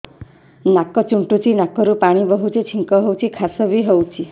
ନାକ ଚୁଣ୍ଟୁଚି ନାକରୁ ପାଣି ବହୁଛି ଛିଙ୍କ ହଉଚି ଖାସ ବି ହଉଚି